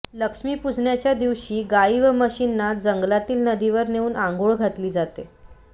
लक्ष्मीपूजनाच्या दिवशी गाई व म्हशींना जंगलातील नदीवर नेऊन आंघोळ घातली जाते